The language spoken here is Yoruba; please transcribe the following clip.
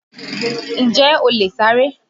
Ǹjẹ́ o lè sáré?